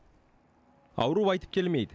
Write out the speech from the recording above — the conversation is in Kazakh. ауру айтып келмейді